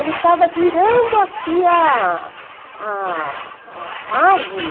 Ele estava virando aqui a a a árvore.